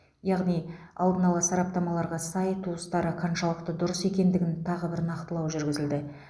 яғни алдын ала сараптамаларға сай туыстары қаншалықты дұрыс екендігін тағы бір нақтылау жүргізілді